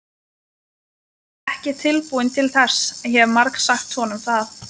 Ég er ekki tilbúin til þess, hef margsagt honum það.